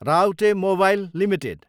Raute mobile Ltd